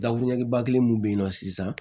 ba kelen mun bɛ yen nɔ sisan